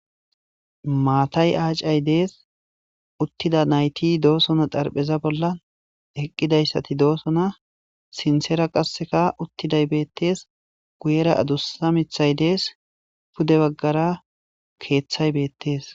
Maatay aacay dees uttida nayti doosona darpheza bolla eqqidayssati doosona sinsera qasseka uttiday beettees guyera adussa mithay dees pude baggara keeththay beettees.